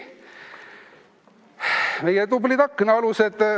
Meie tublid aknaalused.